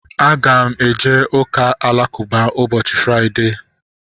Aga m eje ụka alakụba ụbọchị Fraịdee